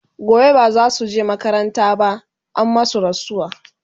gobe bazasuje makaranta ba an masu rasuwa